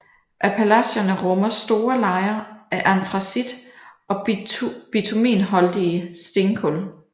Appalacherne rummer store lejer af antracit og bitumenholdige stenkul